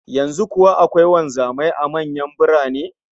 Yanzu kuwa akwai wanzamai a manyan birane?